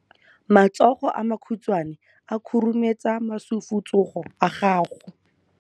Matsogo a makhutshwane a khurumetsa masufutsogo a gago.